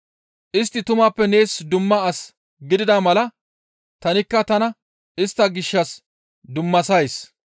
Istti tumappe nees dumma as gidida mala tanikka tana istta gishshas dummasays.